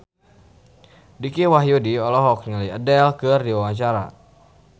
Dicky Wahyudi olohok ningali Adele keur diwawancara